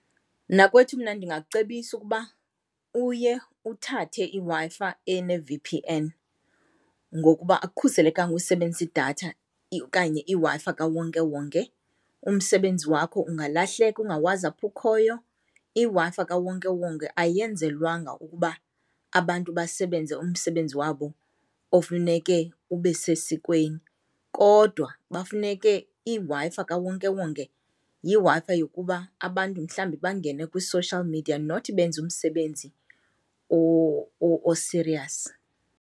Mnakwethu, mna ndingakucebisa ukuba uye uthathe iWi-Fi ene-V_P_N ngokuba akukhuselekanga usebenzisa idatha okanye iWi-Fi kawonkewonke, umsebenzi wakho ungalahleka ungawazi apho ukhoyo. IWi-Fi kawonkewonke ayenzelwanga ukuba abantu basebenze umsebenzi wabo ofuneke ube sesikweni, kodwa bafuneke iWi-Fi kawonkewonke yiWi-Fi yokuba abantu mhlawumbi bangene kwi-social media not benze umsebenzi osiriyasi.